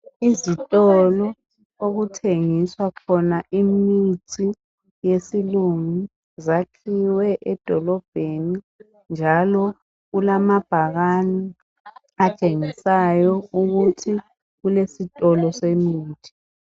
Izitolo okuthengiswa khona imithi yesilingu zikhiwe emadolobheni, njalo kulamabhakani atshengisayo ukuthi kulesitolo semithi.